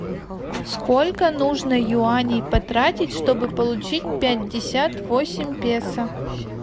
сколько нужно юаней потратить чтобы получить пятьдесят восемь песо